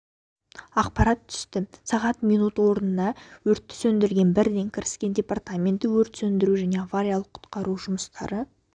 ақпарат түсті сағат минут орнына өртті сөндіруге бірден кіріскен департаменті өрт сөндіру және авариялық-құтқару жұмыстары